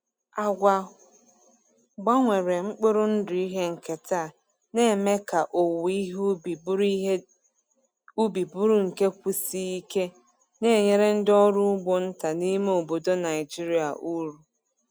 Agwa gbanwere mkpụrụ ndụ ihe nketa na-eme ka owuwe ihe ubi bụrụ ihe ubi bụrụ nke kwụsie ike, na-enyere ndị ọrụ ugbo nta n’ime obodo Naijiria uru.